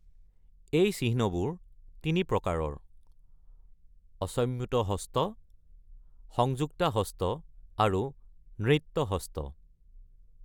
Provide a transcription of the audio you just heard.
এই চিহ্নবোৰ তিনি প্ৰকাৰৰ: অসম্যুত হস্ত, সংযুক্তা হস্ত আৰু নৃত্ত হস্ত।